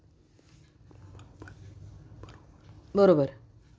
बरोबर